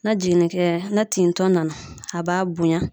Na jiginnikɛ na tin tɔ nana, a b'a bonya.